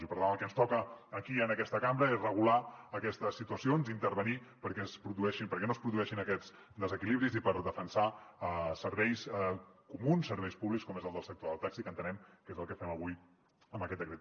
i per tant el que ens toca aquí en aquesta cambra és regular aquestes situacions i intervenir hi perquè no es produeixin aquests desequilibris i per defensar serveis comuns o serveis públics com és el del sector del taxi que entenem que és el que fem avui amb aquest decret